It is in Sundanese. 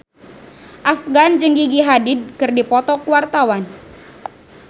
Afgan jeung Gigi Hadid keur dipoto ku wartawan